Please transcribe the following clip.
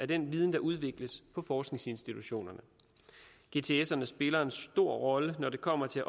den viden der udvikles på forskningsinstitutionerne gtserne spiller en stor rolle når det kommer til at